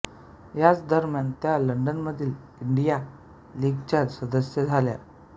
याच दरम्यान त्या लण्डनमधील इण्डिया लीगच्या सदस्या झाल्या